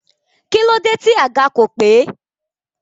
Kílódé tí àga kò pé?